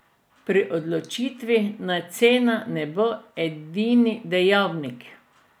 Pri odločitvi naj cena ne bo edini dejavnik.